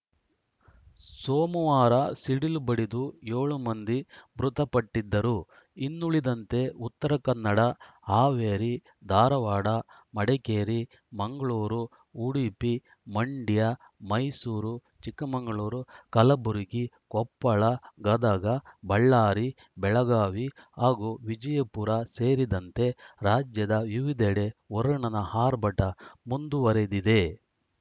ಸೋಮವಾರ ಸಿಡಿಲು ಬಡಿದು ಏಳು ಮಂದಿ ಮೃತಪಟ್ಟಿದ್ದರು ಇನ್ನುಳಿದಂತೆ ಉತ್ತರ ಕನ್ನಡ ಹಾವೇರಿ ಧಾರವಾಡ ಮಡಿಕೇರಿ ಮಂಗಳೂರು ಉಡುಪಿ ಮಂಡ್ಯ ಮೈಸೂರು ಚಿಕ್ಕಮಂಗಳೂರು ಕಲಬುರಗಿ ಕೊಪ್ಪಳ ಗದಗ ಬಳ್ಳಾರಿ ಬೆಳಗಾವಿ ಹಾಗೂ ವಿಜಯಪುರ ಸೇರಿದಂತೆ ರಾಜ್ಯದ ವಿವಿಧೆಡೆ ವರುಣನ ಆರ್ಭಟ ಮುಂದುವರೆದಿದೆ